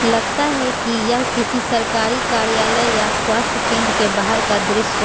लगता है कि यह किसी सरकारी कार्यालय या स्वास्थ्य केंद्र के बाहर का दृश्य --